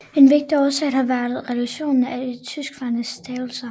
En vigtig årsag har været reduktionen af de tryksvage stavelser